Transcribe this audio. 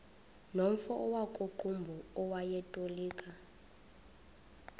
nomfo wakuqumbu owayetolika